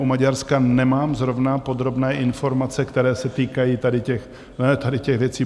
U Maďarska nemám zrovna podrobné informace, které se týkají tady těch věcí.